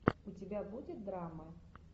у тебя будет драма